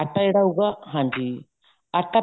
ਆਟਾ ਜਿਹੜਾ ਹੋਊਗਾ ਹਾਂਜੀ ਆਟਾ